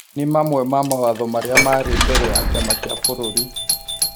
nĩ mamwe ma mawatho marĩa marĩ mbere ya Kĩama kĩa bũrũri.